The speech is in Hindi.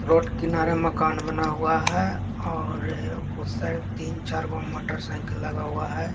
रोड किनारे मकान बना हुआ है और उस साइड तीन -चार मोटरसाइकिल लगा हुआ है।